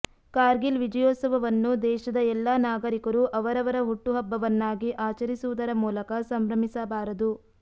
ಕಾರ್ಗಿಲ ವಿಜಯೋತ್ಸವವನ್ನು ದೇಶದ ಎಲ್ಲಾ ನಾಗರಿಕರು ಅವರವರ ಹುಟ್ಟು ಹಬ್ಬವನ್ನಾಗಿ ಆಚರಿಸುವುದರ ಮೂಲಕ ಸಂಭ್ರಮಿಸಬಾರದು